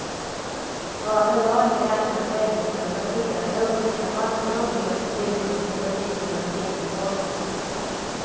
Överlag är läsarna väldigt engagerade och skickar massor av brev med synpunkter på tidningarnas innehåll.